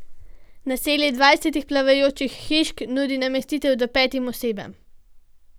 Naselje dvajsetih plavajočih hišk nudi namestitev do petim osebam.